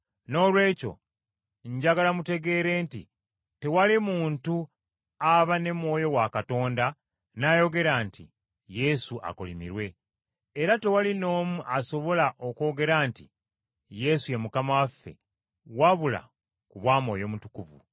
Noolwekyo njagala mutegeere nti tewali muntu aba ne Mwoyo wa Katonda n’ayogera nti, “Yesu akolimirwe.” Era tewali n’omu asobola okwogera nti, “Yesu ye Mukama waffe,” wabula ku bwa Mwoyo Mutukuvu.